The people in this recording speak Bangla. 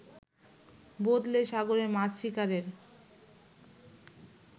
বদলে সাগরে মাছ শিকারের